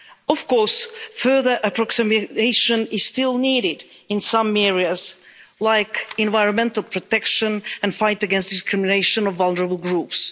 Of course, further approximation is still needed in some areas like environmental protection and the fight against discrimination of vulnerable groups.